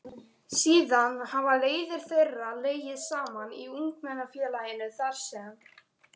Síðan hafa leiðir þeirra legið saman í Ungmennafélaginu þar sem